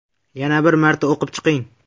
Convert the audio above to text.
Yana bir marta o‘qib chiqing.